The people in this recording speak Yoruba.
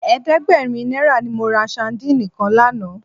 Ẹ̀ẹ́dẹ́gbẹ̀rin náírà ni mo ra sadíìnì kan lánàá.